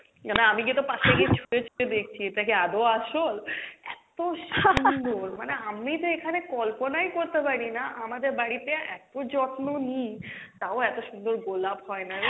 মানে আমি পাশে গিয়ে ছুঁয়ে ছুঁয়ে দেখছি এটা কী আদেও আসল? এত সুন্দর মানে আমি তো এখানে কল্পনাই করতে পারি না আমাদের বাড়িতে এত যত্ন নিই তাও এত সুন্দর গোলাপ হয়না রে,